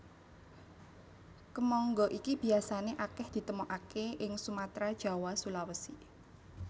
Kemangga iki biasané akèh ditemokaké ing Sumatra Jawa Sulawesi